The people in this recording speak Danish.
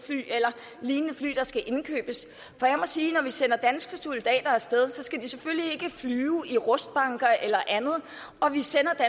fly eller lignende fly der skal indkøbes for jeg må sige at når vi sender danske soldater af sted så skal de selvfølgelig ikke flyve i rustbunker eller andet og vi sender